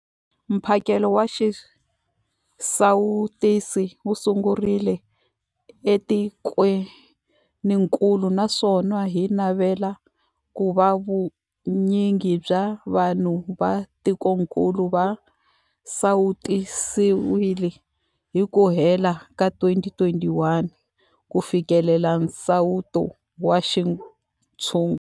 Mphakelo wa xisawutisi wu sungurile etikwenikulu naswona hi navela ku va vu nyingi bya vanhu va tikokulu va sawutisiwile hi ku hela ka 2021 ku fikelela nsawuto wa xintshungu.